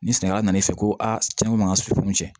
Ni sɛnɛkɛla nan'i fɛ ko a cɛn ko man ka sukunɛ tiɲɛ